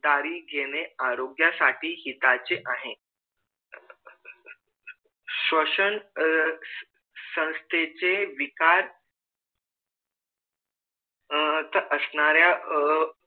खबरदारी घेणे आरोग्यासाठी हिताचे आहे श्वसन अह संसथेचे विकार असणाऱ्या अह